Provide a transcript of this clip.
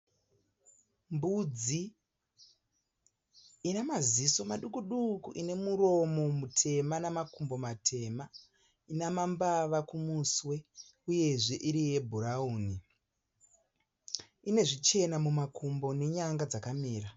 Mbudzi ine maziso maduku duku ine muromo mutema namakumbo matema ina mambava kumuswe uyezve iri yebhurawuni ine zvichena mumakumbo nenyanga dzakamira.